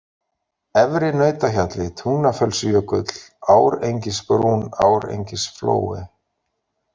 Efri-Nautahjalli, Tungnafellsjökull, Árengisbrún, Árengisflói